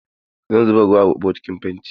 Zan zuba ruwa a bokitin fentin.